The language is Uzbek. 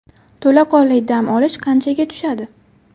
To‘laqonli dam olish qanchaga tushadi?